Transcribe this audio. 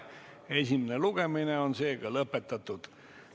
Esimene lugemine on lõpetatud.